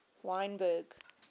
wynberg